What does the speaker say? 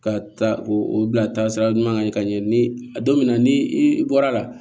Ka taa o bilasira ɲuman kan ka ɲɛ ni don min na ni i bɔra la